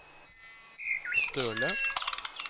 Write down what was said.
Støle